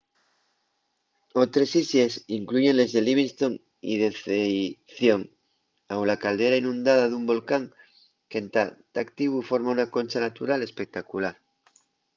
otres islles incluyen les de livingston y deceición au la caldera inundada d’un volcán qu’entá ta activu forma una concha natural espectacular